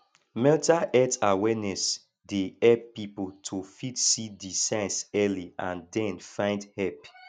mental health awareness dey help pipo to fit see di signs early and then find help